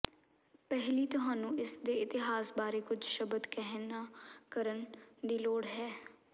ਪਹਿਲੀ ਤੁਹਾਨੂੰ ਇਸ ਦੇ ਇਤਿਹਾਸ ਬਾਰੇ ਕੁਝ ਸ਼ਬਦ ਕਹਿਣਾ ਕਰਨ ਦੀ ਲੋੜ ਹੈ